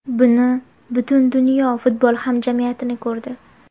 Buni butun dunyo futbol hamjamiyati ko‘rdi.